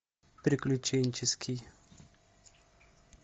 приключенческий